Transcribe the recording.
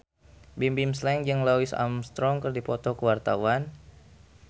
Bimbim Slank jeung Louis Armstrong keur dipoto ku wartawan